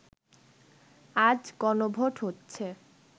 আজ গণভোট হচ্ছে